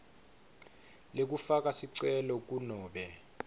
lekufaka sicelo kunobe